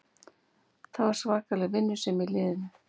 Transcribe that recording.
Það var svakaleg vinnusemi í liðinu